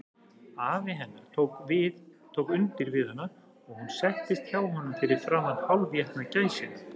Afi hennar tók undir við hana, og hún settist hjá honum fyrir framan hálfétna gæsina.